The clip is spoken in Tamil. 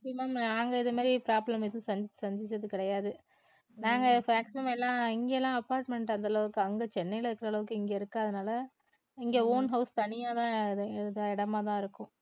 maximum நாங்க இதமாரி problem எதுவும் சந்தி~ சந்திச்சது கிடையாது நாங்க maximum எல்லாம் இங்கலாம் apartment அந்தளவுக்கு அங்க சென்னை இருக்கிற அளவுக்கு இங்க இருக்காதனால இங்க own house தனியாதான் இடமாதான் இருக்கும்